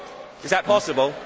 Is that possible?